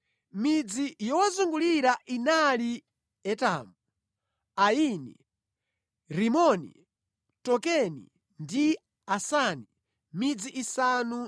Midzi yowazungulira inali Etamu, Aini, Rimoni, Tokeni ndi Asani, midzi isanu